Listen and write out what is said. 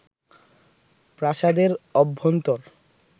প্রাসাদের অভ্যন্তর